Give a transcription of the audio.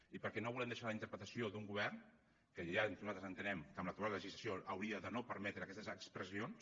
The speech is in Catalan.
i perquè no volem deixar a la interpretació d’un govern que ja nosaltres entenem que amb l’actual legislació no hauria de permetre aquestes expressions